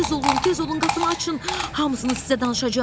Tez olun, tez olun, qapını açın, hamısını sizə danışacağam.